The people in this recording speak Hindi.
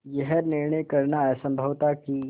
यह निर्णय करना असम्भव था कि